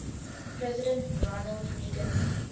president ronald reagan